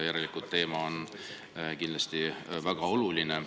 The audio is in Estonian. Järelikult teema on väga oluline.